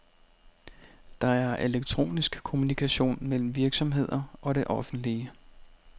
Der er elektronisk kommunikation mellem virksomheder og det offentlige.